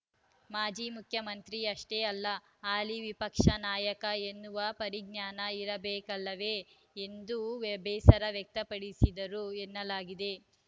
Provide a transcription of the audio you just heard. ಮಾಜಿ ಮುಖ್ಯಮಂತ್ರಿ ಅಷ್ಟೇ ಅಲ್ಲ ಹಾಲಿ ವಿಪಕ್ಷ ನಾಯಕ ಎನ್ನುವ ಪರಿಜ್ಞಾನ ಇರಬೇಕಲ್ಲವೇ ಎಂದು ಬೇಸರ ವ್ಯಕ್ತಪಡಿಸಿದರು ಎನ್ನಲಾಗಿದೆ